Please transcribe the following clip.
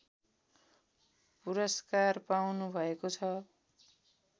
पुरस्कार पाउनुभएको छ